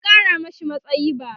an Kara mashi matsayi bara